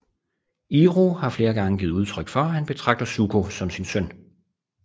Iroh har flere gange givet udtryk for at han betragter Zuko som sin søn